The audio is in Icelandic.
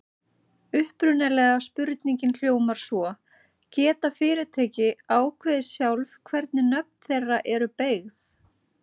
Upprunalega spurningin hljóðaði svo: Geta fyrirtæki ákveðið sjálf hvernig nöfn þeirra eru beygð?